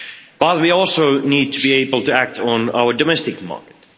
But we also need to be able to act on our domestic market.